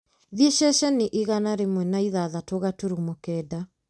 thiĩ ceceni igana rĩmwe na ĩthathatũ gaturumo kenda